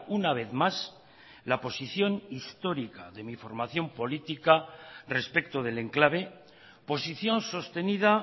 una vez más la posición histórica de mi formación política respecto del enclave posición sostenida